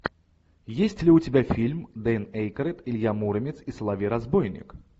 есть ли у тебя фильм дэн эйкройд илья муромец и соловей разбойник